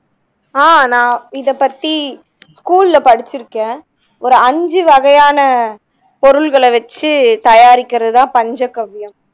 ஆஹ் நா இத பத்தி school ல படிச்சுருக்கேன் ஒரு ஐந்து வகையான பொருள்களை வச்சு தயாரிக்கிறதுதான் பஞ்சகவ்வியம்